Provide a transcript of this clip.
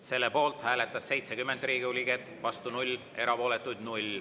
Selle poolt hääletas 70 Riigikogu liiget, vastu 0, erapooletuid 0.